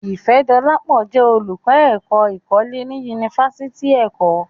Ifẹ̀dọlápọ̀ jẹ́ olùkọ́ èkó̀ ìkọlẹ̀ ní Yunífásítì Èkọ́.